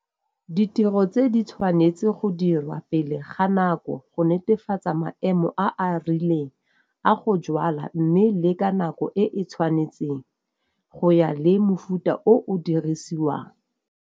Ditiro tse di tshwanetse go dirwa pele ga nako go netefatsa maemo a a rileng a go jwala mme le ka nako e e tshwanetseng go ya le mofuta o o dirisiwang.